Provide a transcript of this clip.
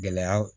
Gɛlɛya